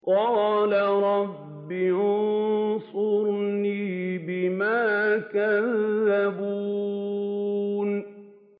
قَالَ رَبِّ انصُرْنِي بِمَا كَذَّبُونِ